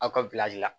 Aw ka la